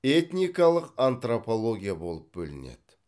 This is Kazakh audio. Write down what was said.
этникалық антропология болып бөлінеді